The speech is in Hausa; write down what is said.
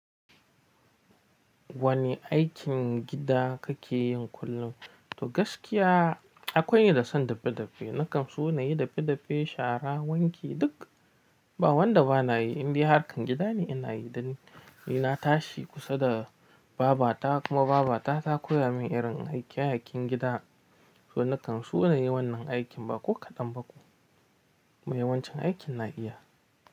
Wane aikin gida kake yin kullum? To gaskiya akwai ni da san dafe-dafe, na kan so na yi dafe-dafe, shara, wanki duk. Ba wanda ba na yi, in dai harkan gida ne ina yi dan. Ni na tashi kusa da babba ta kuma babba ta, ta koya min irin aiken aiken gida. To na kan so na yi wannan aikin ba ko kaɗan ba ko. Mai wancan aikin na iya.